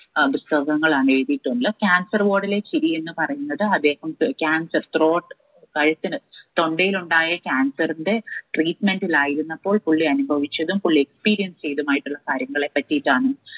ഏർ പുസ്തകങ്ങളാണ് എഴുതീട്ടുള്ളു cancer ward ലെ ചിരി എന്ന് പറയുന്നത് അദ്ദേഹം ത് cancer throat തൊണ്ടയിലുണ്ടായ cancer ന്റെ treatment ലായിരുന്നപ്പോൾ പുള്ളി അനുഭവിച്ചതും പുള്ളി experience ചെയ്തുമായിട്ടുള്ള കാര്യങ്ങളെ പറ്റിയിട്ടാണ്